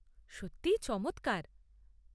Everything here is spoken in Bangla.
সত্যি চমৎকার।